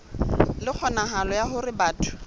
le kgonahalo ya hore batho